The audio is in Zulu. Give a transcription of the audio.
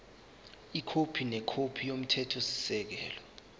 ikhophi nekhophi yomthethosisekelo